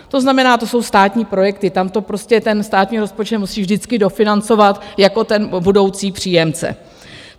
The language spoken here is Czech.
To znamená, to jsou státní projekty, tam to prostě ten státní rozpočet musí vždycky dofinancovat jako ten budoucí příjemce.